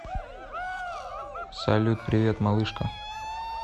салют привет малышка